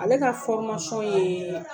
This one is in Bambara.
Ale ka fɔrmasiyɔn yeee